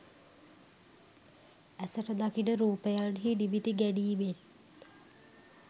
ඇසට දකින රූපයන්හි නිමිති ගැනීමෙන්